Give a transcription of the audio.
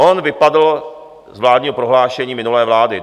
On vypadl z vládního prohlášení minulé vlády.